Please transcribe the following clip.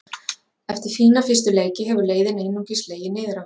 Eftir fína fyrstu leiki hefur leiðin einungis legið niður á við.